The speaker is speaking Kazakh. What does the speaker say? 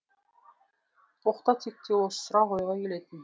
оқта текте осы сұрақ ойға келетін